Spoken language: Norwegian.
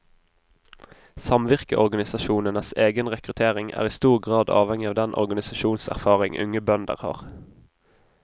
Samvirkeorganisasjonenes egen rekruttering er i stor grad avhengig av den organisasjonserfaring unge bønder har.